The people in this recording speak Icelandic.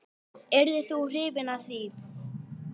Yrðir þú hrifinn af því?